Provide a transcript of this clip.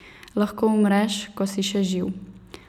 Lahko umreš, ko si še živ.